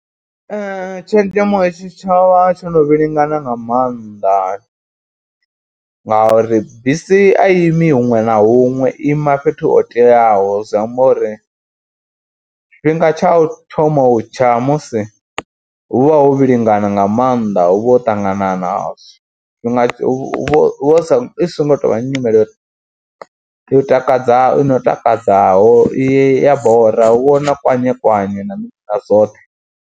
Tshenzhemo ya tshi tsha vha tsho no vhilingana nga maanḓa ngauri bisi a i imi huṅwe na huṅwe, i ima fhethu ho teaho zwi amba uri tshifhinga tsha u thoma u tsha musi hu vha hu vhilingana nga maanḓa, hu vha ho ṱanganana tshifhinga hu vha hu songo tou vha nyimele yo u takadza i no takadzaho, i ya bora hu vha hu na kwanye kwanye na mini na zwoṱhe.